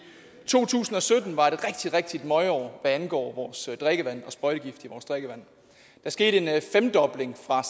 to tusind og sytten var et rigtig møgår hvad angår vores drikkevand og sprøjtegifte i vores drikkevand der skete en femdobling fra